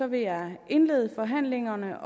vil jeg indlede forhandlingerne